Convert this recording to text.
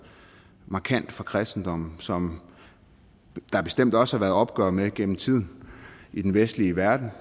markant fra kristendommen som der bestemt også har været opgør med gennem tiden i den vestlige verden